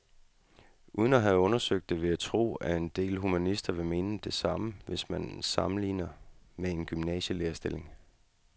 Uden at have undersøgt det vil jeg tro, at en del humanister vil mene det samme, hvis man sammenligner med en gymnasielærerstilling.